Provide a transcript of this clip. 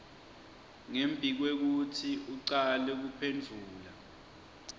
ngembikwekutsi ucale kuphendvula